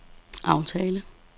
aftale